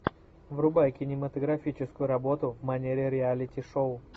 врубай кинематографическую работу в манере реалити шоу